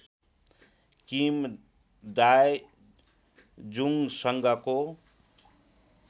Kim Dae जुंगसँगको